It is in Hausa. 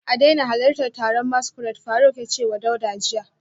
A daina halartar taron masquerade, Faruk ya ce wa Dauda jiya